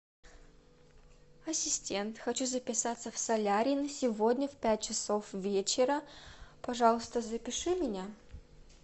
ассистент хочу записаться в солярий на сегодня в пять часов вечера пожалуйста запиши меня